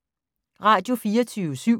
Radio24syv